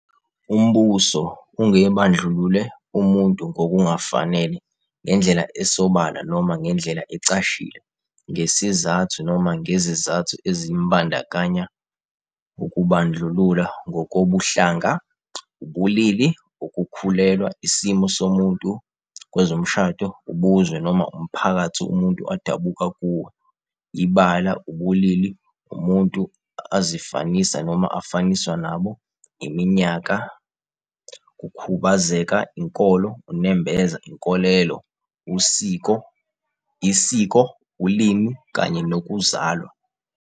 Umbuso ungebandlulule umuntu ngokungafanele, ngendlela esobala noma ngendlela ecashile, ngesizathu noma ngezizathu ezimbandakanya ukubandlulula ngokobuhlanga, ubulili, ukukhulelwa, isimo somuntu kwezomshado, ubuzwe noma umphakathi umuntu adabuka kuwo, ibala, ubulili umuntu azifanisa noma afaniswa nabo, iminyaka, kukhubazeka, inkolo, unembeza, inkolelo, isiko, ulimi kanye nokuzalwa.